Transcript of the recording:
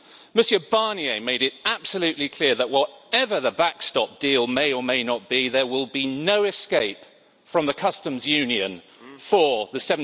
Mr Barnier made it absolutely clear that, whatever the backstop deal may or may not be, there will be no escape from the Customs Union for the